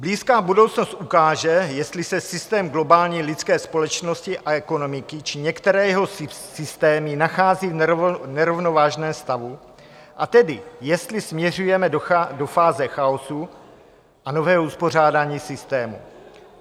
Blízká budoucnost ukáže, jestli se systém globální lidské společnosti a ekonomiky či některé jeho systémy nachází v nerovnovážném stavu, a tedy jestli směřujeme do fáze chaosu a nového uspořádání systému.